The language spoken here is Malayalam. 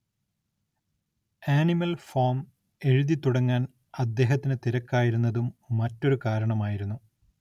ആനിമൽ ഫാം എഴുതിത്തുടങ്ങാൻ അദ്ദേഹത്തിന് തിരക്കായിരുന്നതും മറ്റൊരു കാരണമായിരുന്നു.